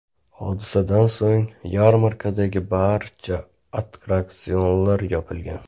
Hodisadan so‘ng yarmarkadagi barcha attraksionlar yopilgan.